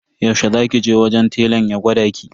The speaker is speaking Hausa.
Yaushe za ki je wajen telan ya gwada ki?